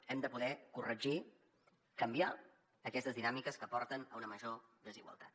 hem de poder corregir canviar aquestes dinàmiques que porten a una major desigualtat